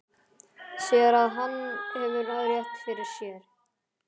Sér að hann hefur rétt fyrir sér.